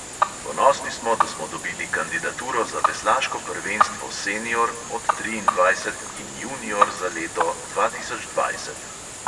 Ponosni smo, da smo dobili kandidaturo za veslaško prvenstvo senior pod triindvajset in junior za leto dva tisoč dvajset.